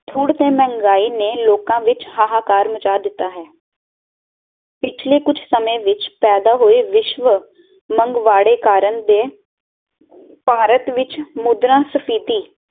ਥੁੜ ਤੇ ਮਹਿੰਗਾਈ ਨੇ ਲੋਕ ਵਿੱਚ ਹਾਹਾਕਾਰ ਮਚਾ ਦਿੱਤਾ ਹੈ ਪਿੱਛਲੇ ਕੁੱਜ ਸਮੇਂ ਵਿੱਚ ਪੈਦਾ ਹੋਏ ਵਿਸ਼ਵ ਮਨਵਾੜੇ ਕਾਰਨ ਦੇ ਭਾਰਤ ਵਿਚ ਮੁੰਦਰਾਂ ਸਫੀਤੀ